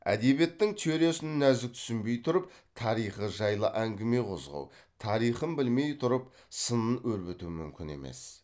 әдебиеттің теориясын нәзік түсінбей тұрып тарихы жайлы әңгіме қозғау тарихын білмей тұрып сынын өрбіту мүмкін емес